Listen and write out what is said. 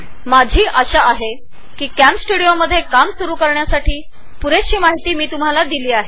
तर मला अशी आशा आहे की मी तुम्हाला कॅमस्टुडिओची पुरेपूर माहीती दिलेली आहे